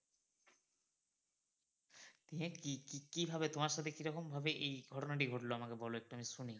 দিয়ে কি কি কিভাবে তোমার সাথে কিরকম ভাবে এই ঘটনাটি ঘটলো আমাকে বলো একটু আমি শুনি।